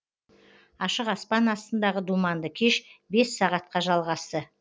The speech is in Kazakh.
ашық аспан астындағы думанды кеш бес сағатқа жалғасты